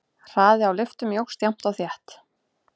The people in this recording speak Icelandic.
Hraði á lyftum jókst jafnt og þétt.